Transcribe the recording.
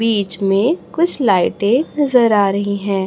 बीच में कुछ लाइटे नजर आ रही है।